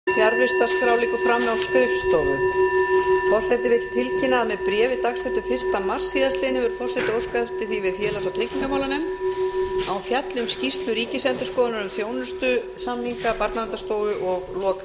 forseti vill tilkynna að með bréfi dagsettu fyrsta mars síðastliðinn hefur forseti óskað eftir því við félags og tryggingamálanefnd að hún fjalli um skýrslu ríkisendurskoðunar um þjónustusamninga barnaverndarstofu og lok